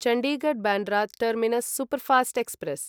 Chandigarh Bandra terminus superfast express